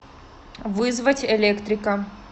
вызвать электрика